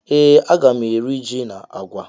Ee aga mụ eri jị na àgwà